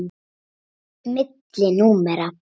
Milli númera.